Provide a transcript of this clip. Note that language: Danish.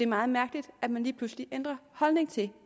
meget mærkeligt at man lige pludselig ændrer holdning til